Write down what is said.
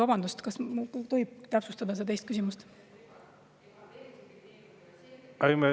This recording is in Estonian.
Vabandust, kas tohib teist küsimust täpsustada?